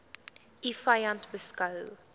u vyand beskou